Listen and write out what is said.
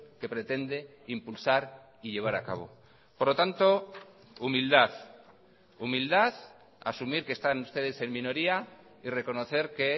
que pretende impulsar y llevar a cabo por lo tanto humildad humildad asumir que están ustedes en minoría y reconocer que